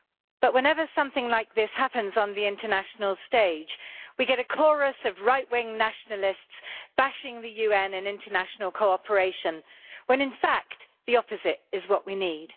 But whenever something like this happens on the international stage we get a chorus of right wing nationalists bashing the UN and international cooperation, when in fact the opposite is what we need.